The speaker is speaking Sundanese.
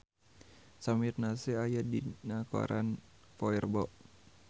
Samir Nasri aya dina koran poe Rebo